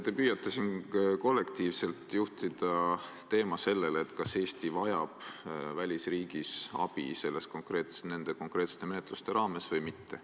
Te püüate siin kollektiivselt juhtida teemat sellele, kas Eesti vajab välisriigis abi nende konkreetsete menetluste raames või mitte.